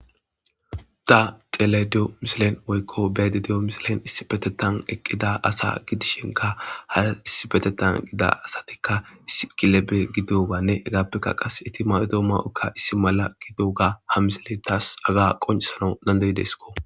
da xelediyo misilen woykko bede diyo misilen issibetetan eqqida asa gidishinka haa issibetetan gida asatikka isi kilebe gidoganne hegaappeka qas eti mawodo ma7okka issi mala gido ga ha misile taas aga qoncisano dandeyideskko